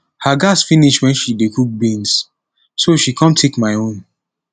her gas suddenly finish wen she dey cook beans so she come take my own